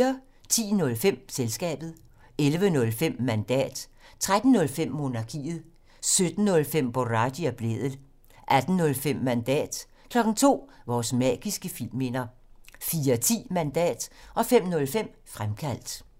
10:05: Selskabet 11:05: Mandat 13:05: Monarkiet 17:05: Boraghi og Blædel 18:05: Mandat 02:00: Vores magiske filmminder 04:10: Mandat 05:05: Fremkaldt